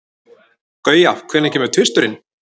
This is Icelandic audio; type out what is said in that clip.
Guja, hvenær kemur tvisturinn?